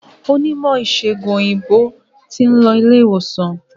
Onímò ìsègùn òyìnbó tin lo ilé ìwòsan